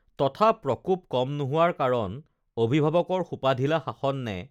তথা প্ৰকোপ কম নোহোৱাৰ কাৰণ অভিভাৱকৰ সোপাঢিলা শাসন নে